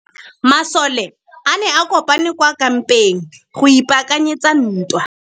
Masole a ne a kopane kwa kampeng go ipaakanyetsa ntwa.